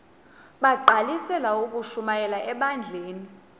bagqalisele ukushumayela ebandleni